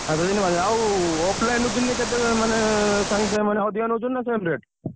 ସାତ ଦିନି ପାଞ୍ଚ ଦିନି ଆଉ offline ରୁ କିଣିଲେ କେତେ ମାନେ ସାଙ୍ଗେସାଙ୍ଗେ ମାନେ ଅଧିକା ନଉଛନ୍ତି ନା same rate